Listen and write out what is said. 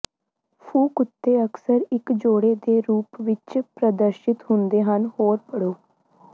ਫੂ ਕੁੱਤੇ ਅਕਸਰ ਇੱਕ ਜੋੜੇ ਦੇ ਰੂਪ ਵਿੱਚ ਪ੍ਰਦਰਸ਼ਿਤ ਹੁੰਦੇ ਹਨ ਹੋਰ ਪੜ੍ਹੋ